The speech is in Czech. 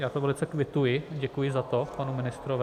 Já to velice kvituji, děkuji za to panu ministrovi.